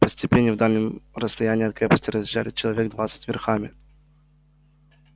по степи не в дальнем расстоянии от крепости разъезжали человек двадцать верхами